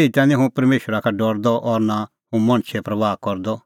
एही ता निं हुंह परमेशरा का डरदअ और नां हुंह मणछे परबाह करदअ